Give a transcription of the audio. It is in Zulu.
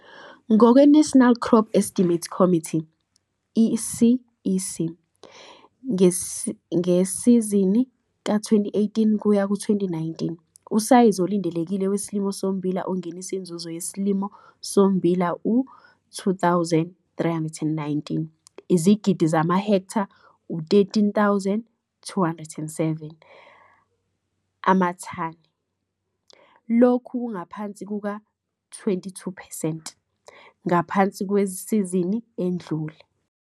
Ngokwe-National Crop Estimates Committee i-CEC ngesizini ka-2018 kuyaku 2019, usayizi olindelekile wesilimo sommbila ongenisa inzuzo yesilimo sommbila u-2,319 izigidi zamahektha u-13,207 amathani, lokhu kungaphansi kuka-22 percent ngaphansi kwesizini edlule.